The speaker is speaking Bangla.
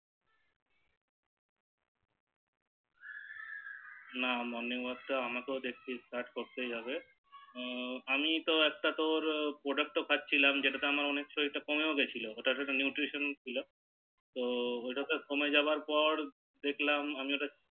না Morning Work টা দেখছি আমাকেও স্টার্ট করতে হবে হু আমি তো একটা তোর Product ও খাচ্ছিলাম যেটাতে আমার অনেকটা শরীর কমেও গিয়েছিলো ওটা একটা নিউট্রিশন ছিল তো ওটাতে কমে যাবার পর দেখলাম আমি